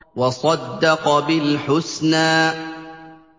وَصَدَّقَ بِالْحُسْنَىٰ